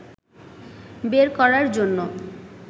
বের করার জন্য